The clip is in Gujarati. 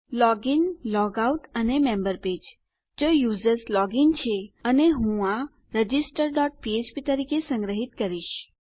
લોગ ઇન લોગ આઉટ અને મેમ્બર પેજ જો યુઝર્સ લોગ ઇન છે અને હું આ રજિસ્ટર ડોટ ફ્ફ્પ તરીકે સંગ્રહીત કરીશ